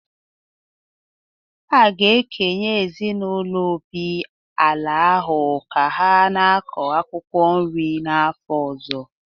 A ga-ekenye ezinaụlọ Obi ala ahụ ka ha na-akọ akwụkwọ nri n’afọ ọzọ